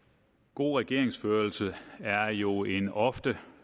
god regeringsførelse er jo en ofte